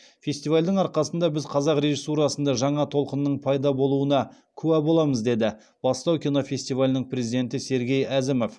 фестивальдің арқасында біз қазақ режиссурасында жаңа толқынның пайда болуына куә боламыз деді бастау кинофестивалінің президенті сергей әзімов